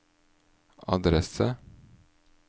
adresse